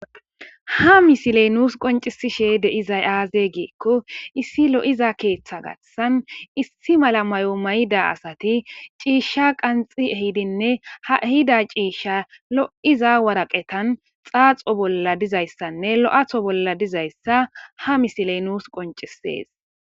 ha misiley nuus qoncisishe deizay aaze giikko issi lo7iza keeththa gashsan issi mala mayo mayida asati ciishsha qanxi ehidinne ha hida ciishsha lo7iza waraqetan xaaxo bolla dizayssanne lo7atho bolla dizayssa ha misiley nuus qoncisees